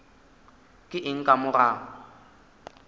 ke eng ka mo ga